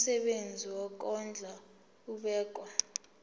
umsebenzi wokondla ubekwa